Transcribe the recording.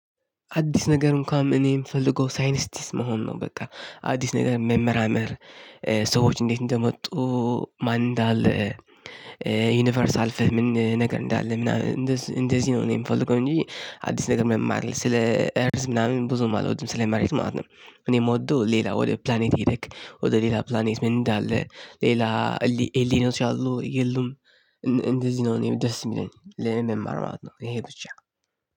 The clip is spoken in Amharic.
አዲስ ነገር እንኳን እኔም የምፈልገው ሳይንስቲስ መሆን ነው በቃ አዲስ ነገር መመራመር ሰዎች እንዴት እንደመጡ ማን እንዳለ ዩኒቨርስ አልፈን ምን ነገር እንዳለ ምናምን እንደሱ እንደዚህ ነው እኔ የምፈልገው እንጂ አዲስ ነገር መማር ስለ አርዝ ምናምን ብዙም አልወድም ስለ መሬት ማለት ነው። እኔ የምወደው ሌላ ወደ ፕላኔት ሂድክ ወደ ሌላ ፕላኔት ምን እንዳለ? ሌላ ኤሊኖች አሉ የሉም እንደዚህ ነው እኔ ደስ የሚለኝ ለኔ መማር ማለት ነው ይሄ ብቻ